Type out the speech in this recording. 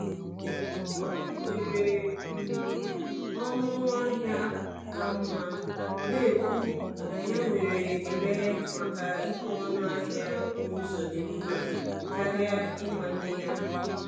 Ọ nyere m ọnụ ahịa ka mma, na-ekwu na ya nwere ekele maka ịkwụ ọnụ ahịa n’ụzọ dị mma karịa ịmanye ya.